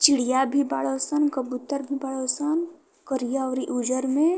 चिड़िया भी बाड़ सन। कबूतर भी बाड़ सन करिया अउरी उजर में।